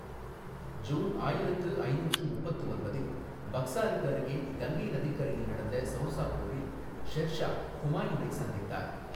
June ஆயிரத்து ஐந்நூற்று முப்பத்து ஒன்பதில் பக்சாருக்கு அருகே கங்கை நதிக்கரையில் நடந்த சௌசா போரில் ஷெர் ஷா, ஹுமாயூனை சந்தித்தார்.